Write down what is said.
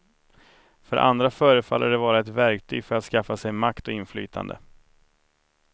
För andra förefaller de vara ett verktyg för att skaffa sig makt och inflytande.